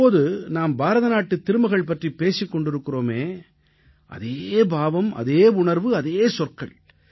இப்போது நாம் பாரதநாட்டுத் திருமகள் பற்றிப் பேசிக் கொண்டிருக்கிறோமே அதே பாவம் அதே உணர்வு அதே சொற்கள்